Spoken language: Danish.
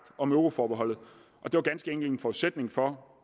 om euroforbeholdet og det var ganske enkelt en forudsætning for